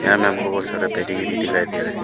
यहां में बहोत सारा पेटी गिरी दिखाई दे रहा--